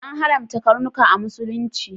An haramta karnuka a Musulunci.